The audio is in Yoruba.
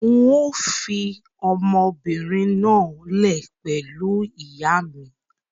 Ń yìí ó fii ọmọbìnrin náà lẹ̀ pẹ̀lú ìyà mi